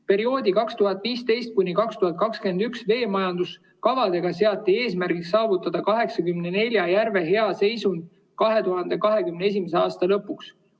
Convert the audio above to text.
Perioodi 2015– 2021 veemajanduskavadega seati eesmärgiks saavutada 84 järve hea seisund 2021. aasta lõpuks.